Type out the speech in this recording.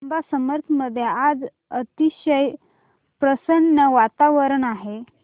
जांब समर्थ मध्ये आज अतिशय प्रसन्न वातावरण आहे